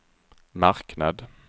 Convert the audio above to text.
marknad